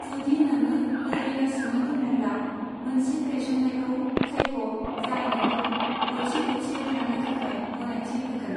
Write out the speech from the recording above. जुदि नोङो लोरि गासिनो दङ'ब्ला, मोनसे गायसननायखौ सायख' जाय नोंखौ गथि गथियै थानो थाखाय गनायथि होगोन।